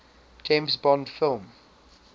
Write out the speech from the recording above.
james bond film